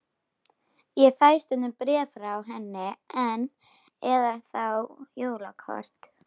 Ég fæ stundum bréf frá henni enn, eða þá jólakort.